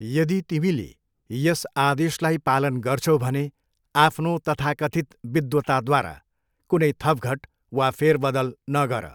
यदि तिमीले यस आदेशलाई पालन गर्छौ भने, आफ्नो तथाकथित विद्वताद्वारा कुनै थपघट वा फेरबदल नगर।